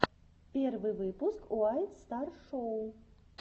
первый выпуск уайт стар шоу